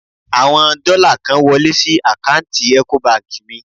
Àwọn dọ́là kan wọlé sí àkáǹtì Ecobank mi.